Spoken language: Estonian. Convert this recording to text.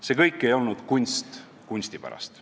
See kõik ei ole olnud kunst kunsti pärast.